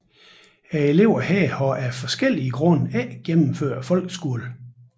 Eleverne her har af forskellige grunde ikke gennemført folkeskolen